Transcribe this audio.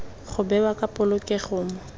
go bewa ka polokego mo